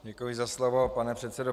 Děkuji za slovo, pane předsedo.